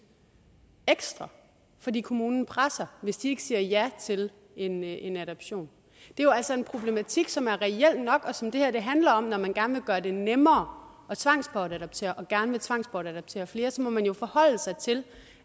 ekstra fordi kommunen presser hvis de ikke siger ja til en en adoption det er jo altså en problematik som er reel nok og som det her handler om når man gerne vil gøre det nemmere at tvangsbortadoptere og gerne vil tvangsbortadoptere flere så man jo forholde sig til